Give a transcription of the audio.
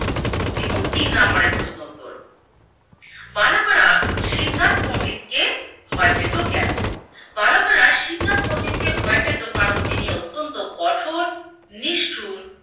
এবং তিন নাম্বারের প্রশ্নোত্তর। বালকরা শিবনাথ পন্ডিতকে ভয় পেতো কেনো? বালকরা শিবনাথ পন্ডিতকে ভয় পেতো কারণ তিনি অত্যন্ত কঠোর, নিষ্ঠূর